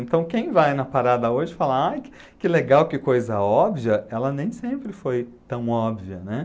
Então, quem vai na parada hoje fala aí que que legal, que coisa óbvia, ela nem sempre foi tão óbvia, né?